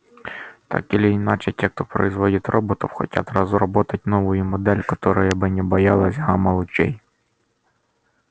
так или иначе те кто производит роботов хотят разработать новую модель которая бы не так боялась гамма-лучей